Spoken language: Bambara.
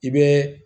I bɛ